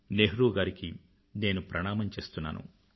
నెహ్రూ గారికి నేను ప్రణామం చేస్తున్నాను